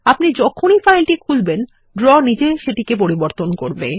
আপনি যখনই ফাইলটি খুলবেন ড্র নিজেই সেটিকে পরিবর্তন করবে